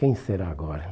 Quem será agora?